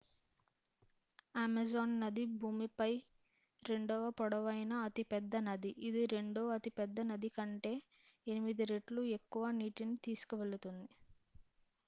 Amazon నది భూమిపై రెండవ పొడవైన అతిపెద్ద నది ఇది రెండవ అతిపెద్ద నది కంటే 8 రెట్లు ఎక్కువ నీటిని తీసుకువెళుతుంది